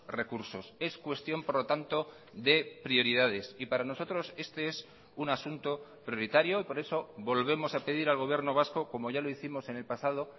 recursos es cuestión por lo tanto de prioridades y para nosotros este es un asunto prioritario y por eso volvemos a pedir al gobierno vasco como ya lo hicimos en el pasado